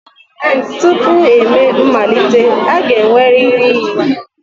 Tupu emee mmalite, a ga-enwerịrị iyi.